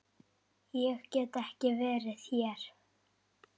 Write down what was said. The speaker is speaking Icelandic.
Ég get ekki verið hér.